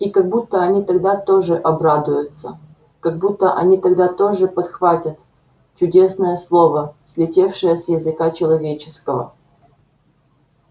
и как будто они тогда тоже обрадуются как будто они тогда тоже подхватят чудесное слово слетевшее с языка человеческого